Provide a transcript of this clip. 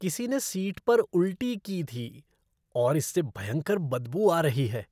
किसी ने सीट पर उल्टी की थी और इससे भयंकर बदबू आ रही है।